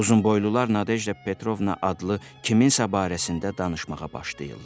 Uzunboylular Nadevda Petrovna adlı kiminsə barəsində danışmağa başlayırlar.